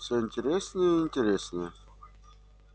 все интереснее и интереснее